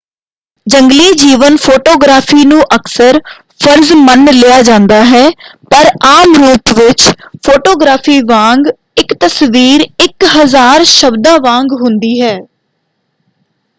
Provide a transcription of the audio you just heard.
ਜੰਗਲੀ-ਜੀਵਨ photography ਨੂੰ ਅਕਸਰ ਫ਼ਰਜ ਮੰਨ ਲਿਆ ਜਾਂਦਾ ਹੈ ਪਰ ਆਮ ਰੂਪ ਵਿੱਚ ਫੋਟੋਗ੍ਰਾਫੀ ਵਾਂਗ ਇਕ ਤਸਵੀਰ ਇਕ ਹਜ਼ਾਰ ਸ਼ਬਦਾਂ ਵਾਂਗ ਹੁੰਦੀ ਹੈ।